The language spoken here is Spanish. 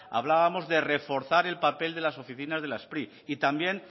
hablábamos de reforzar el papel de las oficinas de la spri y también